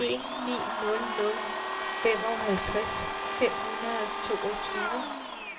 en ni nul nul femoghalvtreds fem hundrede og toogtyve